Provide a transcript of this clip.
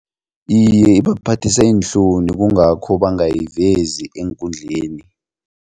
Iye, ibaphathisa iinhloni kungakho bangayivezi eenkundleni.